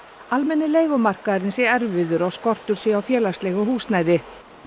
almenni leigumarkaðurinn sé erfiður og skortur sé á félagslegu húsnæði